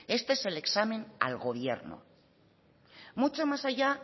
este es el examen al gobierno mucho más allá